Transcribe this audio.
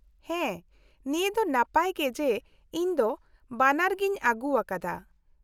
-ᱦᱮᱸ, ᱱᱤᱭᱟᱹ ᱫᱚ ᱱᱟᱯᱟᱭ ᱜᱮ ᱡᱮ ᱤᱧ ᱫᱚ ᱵᱷᱟᱱᱟᱨ ᱜᱤᱧ ᱟᱹᱜᱩᱣᱟᱠᱟᱫᱟ ᱾